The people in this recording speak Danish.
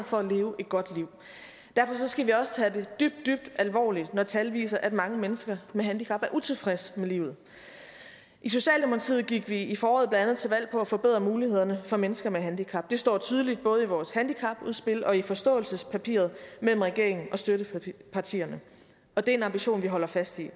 for at leve et godt liv derfor skal vi også tage det dybt dybt alvorligt når tal viser at mange mennesker med handicap er utilfredse med livet i socialdemokratiet gik vi i foråret blandt andet til valg på at forbedre mulighederne for mennesker med handicap det står tydeligt både i vores handicapudspil og i forståelsespapiret mellem regeringen og støttepartierne og det er en ambition vi holder fast i